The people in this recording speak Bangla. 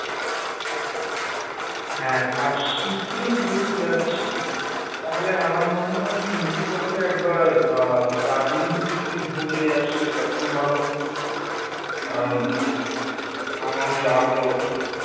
হ্যাঁ আর শীতে যেহেতু যাচ্ছি তাহলে আমার মনে হয় ফিরতি পথে একবার আহ দার্জিলিং থেকে যদি ঢু মেরে আসি সেটাতেও ভালো হবে, কারণ আমারও যাওয়া হয়ে ওঠেনি